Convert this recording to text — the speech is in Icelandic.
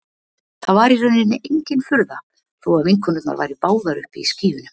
Það var í rauninni engin furða þó að vinkonurnar væru báðar uppi í skýjunum.